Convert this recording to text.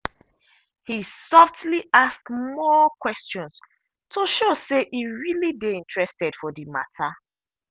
he softly ask more questions to show say e really dey interested for the matter.